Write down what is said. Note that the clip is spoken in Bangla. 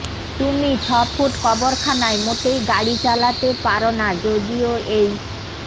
তুমি ছফুট কবরখানায় মোটেই গাড়ি চালাতে পারো না যদিও এই